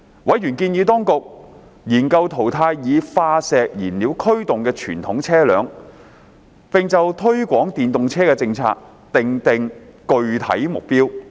委員建議當局研究淘汰以化石燃料驅動的傳統車輛，並就推廣電動車的政策訂定具體目標。